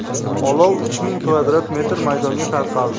Olov uch ming kvadrat metr maydonga tarqaldi.